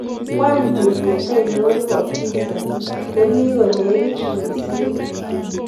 Wany tuget ainon nebo pizzaa nemi konegit mising